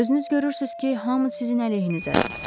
Özünüz görürsünüz ki, hamı sizin əleyhinizədir.